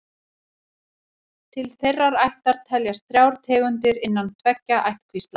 Til þeirrar ættar teljast þrjár tegundir innan tveggja ættkvísla.